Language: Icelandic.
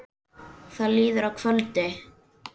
Það líður að kvöldi.